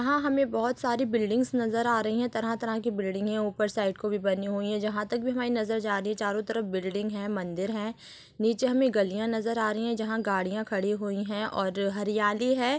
अहाँ हमें बहुत सारी बिल्डिंग्स नज़र आ रही है तरह तरह की बिल्डिंगे ऊपर साइड को भी बनी हुई है जहाँ तक भी हमारी नज़र जा रही है चारो तरफ बिल्डिंग है मंदिर है नीचे हमें गलियां नज़र आ रही है जहाँ गाडियां खड़ी हुई है और हरियाली हैं।